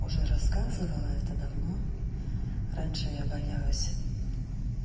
уже рассказывала это давно раньше я боялась